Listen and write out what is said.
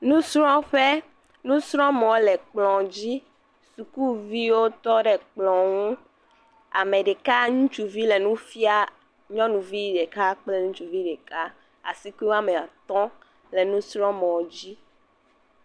Nusrɔ̃ƒe, nusrɔ̃mɔ le kplɔ dzi sukuviwo tɔ ɖe kplɔ ŋu, ame ɖeka ŋutsuvi le nu fiam nyɔnuvi ɖeka kple ŋutsuvi ɖeka asikui woame atɔ̃ le nusrɔ̃mɔ dzi.